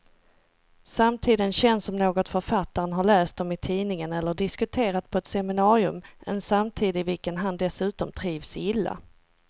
Samtiden känns som något författaren har läst om i tidningen eller diskuterat på ett seminarium, en samtid i vilken han dessutom trivs illa.